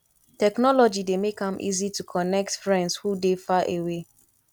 technology dey make am easy to connect friends who dey far away